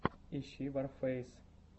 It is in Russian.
ищи ворфэйс